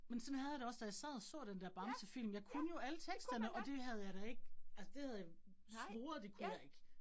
Men sådan havde jeg det også, da jeg sad og så den dér Bamsefilm, jeg kunne jo alle teksterne, og det havde jeg da ikke, det havde jeg svoret, det kunne jeg ikke